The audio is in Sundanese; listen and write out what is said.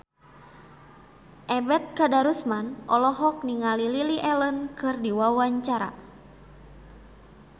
Ebet Kadarusman olohok ningali Lily Allen keur diwawancara